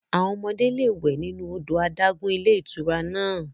Àwọn ọmọdé lè wẹ̀ nínú odò adágún ilé ìtura náà.